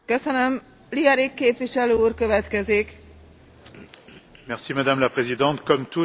Madame la Présidente, comme tous ici, je crois qu'on ne peut pas se contenter de protestations formelles.